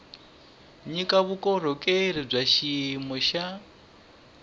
nyika vukorhokeri bya xiyimo xa